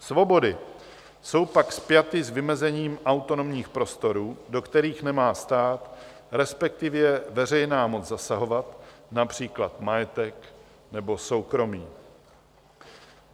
Svobody jsou pak spjaty s vymezením autonomních prostorů, do kterých nemá stát, respektive veřejná moc, zasahovat, například majetek nebo soukromí.